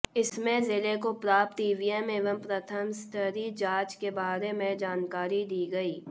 इसमें जिले को प्राप्त ईवीएम एवं प्रथम स्तरीय जांच के बारे में जानकारी दी गई